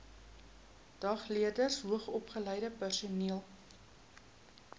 dagleerders hoogsopgeleide personeel